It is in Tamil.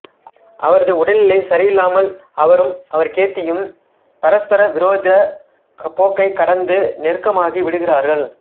அவரது உடல்நிலை சரியில்லாமல் அவரும் கேத்தியும் பரஸ்பர விரோதப் போக்கைக் கடந்து நெருக்கமாகி விடுகிறார்கள்